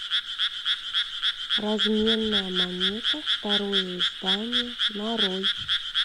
разменная монета второе издание нарой